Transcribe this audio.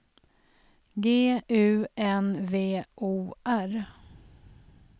G U N V O R